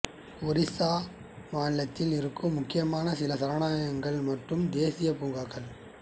ஒரிசா மாநிலத்தில் இருக்கும் முக்கியமான சில சரணாலயங்கள் மற்றும் தேசீயப் பூங்காக்கள்